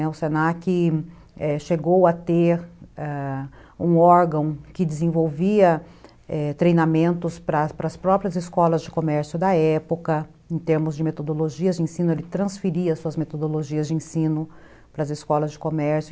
O se na que chegou a ter, ãh, um órgão que desenvolvia treinamentos para as próprias escolas de comércio da época, em termos de metodologias de ensino, ele transferia suas metodologias de ensino para as escolas de comércio.